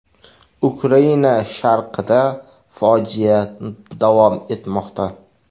Ukraina sharqida fojia davom etmoqda.